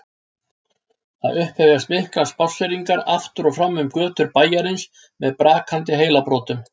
Það upphefjast miklar spásseringar aftur og fram um götur bæjarins með brakandi heilabrotum.